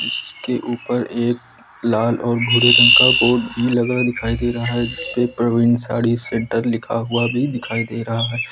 उसके ऊपर एक लाल और भूरे रंग का बोर्ड भी लगा दिखाई दे रहा है जिस पर प्रवीन साड़ी सेंटर भी लिखा हुआ भी दिखाई दे रहा है।